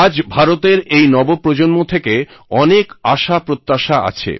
আজ ভারতের এই নবপ্রজন্ম থেকে অনেক আশা প্রত্যাশা আছে